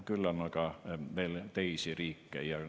Küll on aga veel teisi riike.